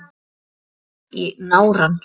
Ég fékk í nárann.